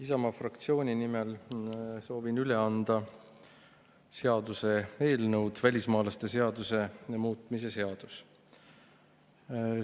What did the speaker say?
Isamaa fraktsiooni nimel soovin üle anda välismaalaste seaduse muutmise seaduse eelnõu.